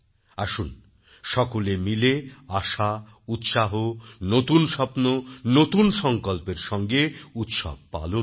আসুন সকলে মিলে আশা উৎসাহ নতুন স্বপ্ন নতুন সংকল্পের সঙ্গে উৎসব পালন করি